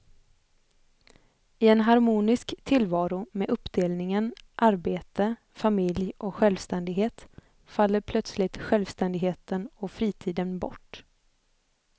I en harmonisk tillvaro med uppdelningen arbete, familj och självständighet faller plötsligt självständigheten och fritiden bort.